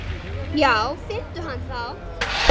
Já finndu hann þá!